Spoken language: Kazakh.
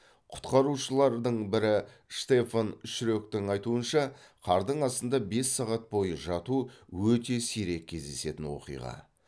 құтқарушылардың бірі штефан шректің айтуынша қардың астында бес сағат бойы жату өте сирек кездесетін оқиға